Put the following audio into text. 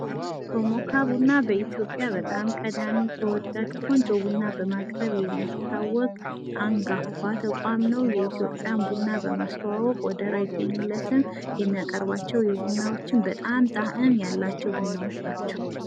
ቶሞካ ቡና በ በኢትዮጵያ በጣም ቀዳሚ፣ ተወዳጅ፣ ቆንጆ ቡናን በማቅረብ የሚታወቅ አንጋፋ ተቋም ነው። የኢትዮጵያን ቡና በማስተዋወቅ ወደር አይገኝለትም። የሚያቀርባቸውም ቡናዎች በጣም ጣእም ያላቸው ቡናዎች ናቸው።